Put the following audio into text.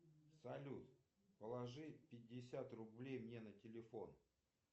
салют положи пятьдесят рублей мне на телефон